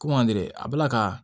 Ko mande a bɛ la ka